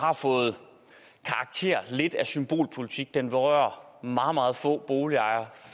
har fået karakter af symbolpolitik den berører meget meget få boligejere